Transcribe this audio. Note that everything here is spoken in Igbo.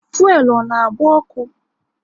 Fuelu ọ na agba ọkụ?